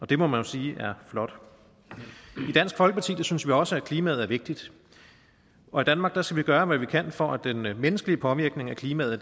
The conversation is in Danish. det må man jo sige er flot i dansk folkeparti synes vi også at klimaet er vigtigt og i danmark skal vi gøre hvad vi kan for at den menneskelige påvirkning af klimaet